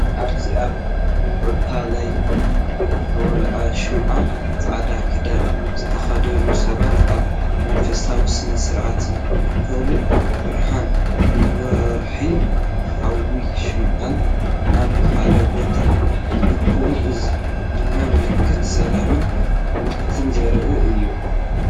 ኣብዚ ኣብ ከውታ ለይቲ ዝተወልዐ ሽምዓ፡ ጻዕዳ ክዳን ዝተኸድኑ ሰባት ኣብ መንፈሳዊ ስነ-ስርዓት ይእከቡ። ብርሃን ወርሕን ሓዊ ሽምዓን ኣብ ሓደ ቦታ ይእከቡ፡ እዚ ድማ መልእኽቲ ሰላምን እምነትን ዘርኢ እዩ።